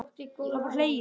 Það var hlegið.